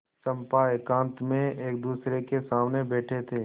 चंपा एकांत में एकदूसरे के सामने बैठे थे